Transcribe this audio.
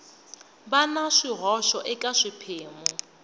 va na swihoxo eka swiphemu